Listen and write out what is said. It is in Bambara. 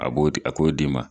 A b'o de a k'o d'i ma.